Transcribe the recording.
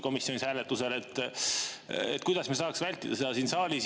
Kuidas me saaksime seda siin saalis vältida?